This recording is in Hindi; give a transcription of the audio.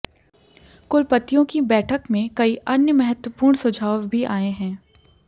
कुलपतियोंकी बैठक में कई अन्य महत्वपूर्ण सुझाव भी आए हैं